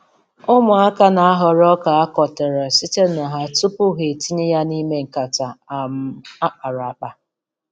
Ụmụaka na-ahọrọ ọka a kụtara site na nha tupu ha nha tupu ha etinye ya n'ime nkata um a kpara akpa.